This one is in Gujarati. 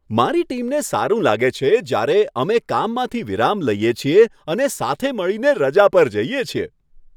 મારી ટીમને સારું લાગે છે જ્યારે અમે કામમાંથી વિરામ લઈએ છીએ અને સાથે મળીને રજા પર જઈએ છીએ.